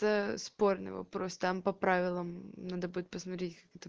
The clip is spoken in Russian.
да спорный вопрос там по правилам надо будет посмотреть